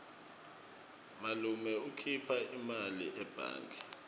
malume ukhipha imali ebhange